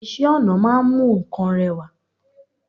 Isẹ́ ọnà ma n mu nkan rewa